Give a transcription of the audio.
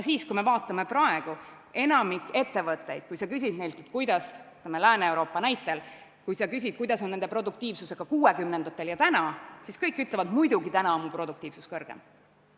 Kui me küsime ettevõtete käest – ma toon Lääne-Euroopa näite –, missugune oli nende produktiivsus 60-ndatel ja missugune on täna, siis kõik ütlevad, et muidugi on täna produktiivsus suurem.